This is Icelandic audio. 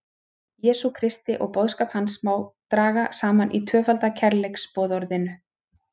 Jesú Kristi og boðskap hans sem má draga saman í tvöfalda kærleiksboðorðinu.